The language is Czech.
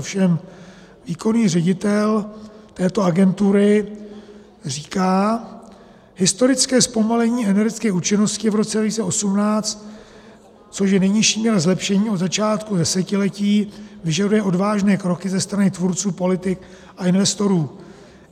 Ovšem výkonný ředitel této agentury říká: Historické zpomalení energetické účinnosti v roce 2018, což je nejnižší míra zlepšení od začátku desetiletí, vyžaduje odvážné kroky ze strany tvůrců politik a investorů.